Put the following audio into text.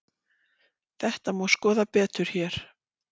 Þetta má skoða betur hér.